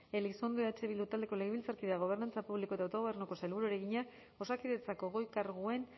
elizondo eh bildu taldeko legebiltzarkideak gobernantza publiko eta autogobernuko sailburuari egina osakidetzako goi karguen